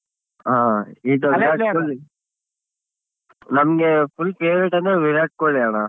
ಹಾ ನಮ್ಗೆ full favorite ಅಂದ್ರೆ ವಿರಾಟ್ ಕೊಹ್ಲಿ ಅಣ್ಣ.